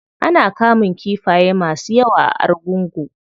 Ana kamun kifaye masu yawa a argungu.